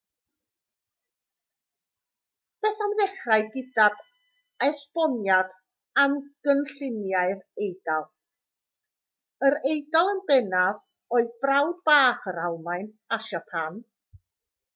beth am ddechrau gydag esboniad am gynlluniau'r eidal yr eidal yn bennaf oedd brawd bach yr almaen a siapan